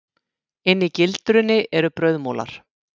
Inni í gildrunni eru brauðmolar.